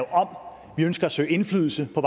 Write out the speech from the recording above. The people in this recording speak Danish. om vi ønsker at søge indflydelse på